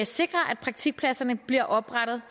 sikrer at praktikpladserne bliver oprettet